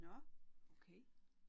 Nåh okay